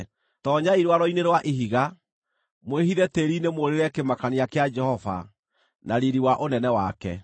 Toonyai rwaro-inĩ rwa ihiga, mwĩhithe tĩĩri-inĩ mũũrĩre kĩmakania kĩa Jehova na riiri wa ũnene wake!